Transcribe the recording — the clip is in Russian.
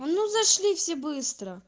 ну зашли все быстро